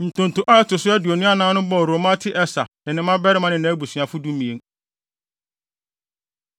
Ntonto a ɛto so aduonu anan no bɔɔ Romamti-Eser ne ne mmabarima ne nʼabusuafo (12)